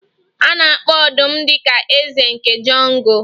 A na-akpọ ọdụm dị ka eze nke Jungle